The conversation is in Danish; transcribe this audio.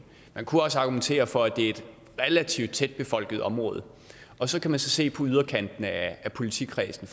man kunne også argumentere for at det er et relativt tæt befolket område og så kan man så se på yderkanten af politikredsen